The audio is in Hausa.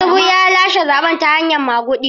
Tinubu ya lashe zaɓen ne ta hanyar maguɗi.